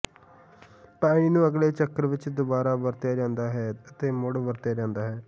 ਪਾਣੀ ਨੂੰ ਅਗਲੇ ਚੱਕਰ ਵਿੱਚ ਦੁਬਾਰਾ ਵਰਤਿਆ ਜਾਂਦਾ ਹੈ ਅਤੇ ਮੁੜ ਵਰਤਿਆ ਜਾਂਦਾ ਹੈ